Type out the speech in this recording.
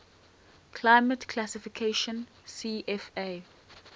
climate classification cfa